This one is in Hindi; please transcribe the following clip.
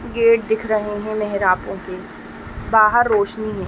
गेट दिख रहे हैं बाहर रोशनी है।